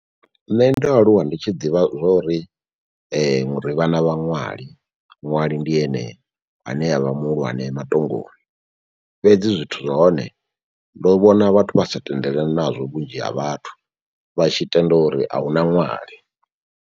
Nṋe ndo aluwa ndi tshi ḓivha zwori ri vhana vha ṅwali. Ṅwali ndi ene ane avha muhulwane matongoni, fhedzi zwithu zwa hone ndo vhona vhathu vhasa tendelani nazwo vhunzhi ha vhathu. Vha tshi tenda uri ahuna ṅwali.